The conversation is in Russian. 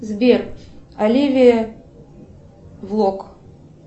сбер оливия влог